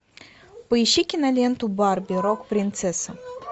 поищи киноленту барби рок принцесса